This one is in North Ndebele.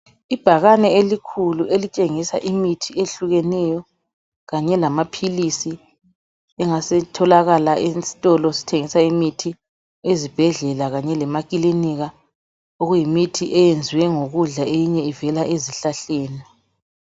Ibhakane elikhulu elitshengisa imithi ehlukeneyo kanye lamaphilisi engasetholakala esitolo esithengisa imithi ezibhedlela kanye lemakilinika okuyimithi eyenziwe ngokudla eminye ivela ezihlahleni.